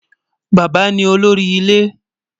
Bàbá ni olórí ilẹ̀